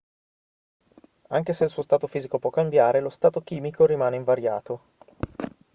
anche se il suo stato fisico può cambiare lo stato chimico rimane invariato